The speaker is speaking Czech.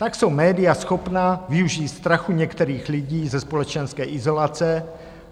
Tak jsou média schopna využít strachu některých lidí ze společenské izolace